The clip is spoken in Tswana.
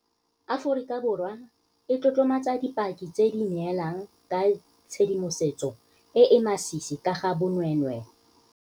Aforika Borwa e tlotlomatsa dipaki tse di neelang ka tshedimosetso e e masisi ka ga bonweenwee.